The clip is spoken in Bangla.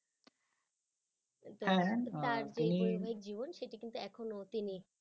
সেটি কিন্তু এখনো তিনি